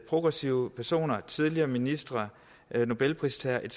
progressive personer tidligere ministre nobelpristagere etc